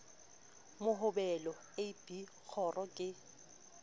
mohobelo a b kgoro ke